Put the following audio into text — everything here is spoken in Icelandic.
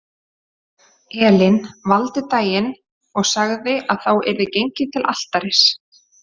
Elín valdi daginn og sagði að þá yrði gengið til altaris.